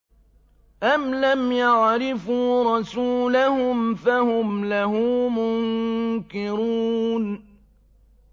أَمْ لَمْ يَعْرِفُوا رَسُولَهُمْ فَهُمْ لَهُ مُنكِرُونَ